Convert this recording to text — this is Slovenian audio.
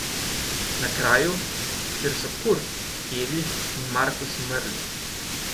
Na kraju, kjer so Kurt, Evi in Markus umrli.